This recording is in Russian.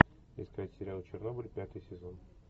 искать сериал чернобыль пятый сезон